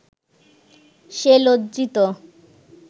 সে লজ্জিত